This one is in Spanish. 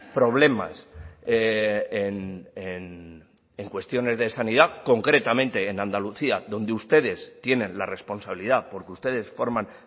problemas en cuestiones de sanidad concretamente en andalucía donde ustedes tienen la responsabilidad porque ustedes forman